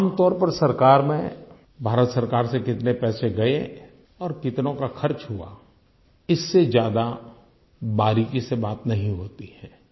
आम तौर पर सरकार में भारत सरकार से कितने पैसे गए और कितनों का खर्च हुआ इससे ज्यादा बारीकी से बात नहीं होती है